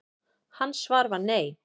Hans svar var nei.